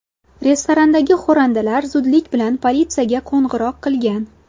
Restorandagi xo‘randalar zudlik bilan politsiyaga qo‘ng‘iroq qilgan.